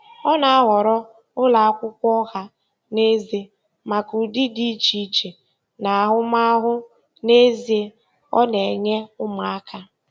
Ọ na-ahọrọ ụlọ akwụkwọ ọha na eze maka ụdị dị iche iche na ahụmahụ n'ezie ọ na-enye ụmụaka.